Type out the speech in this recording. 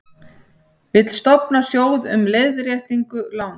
Vill stofna sjóð um leiðréttingu lána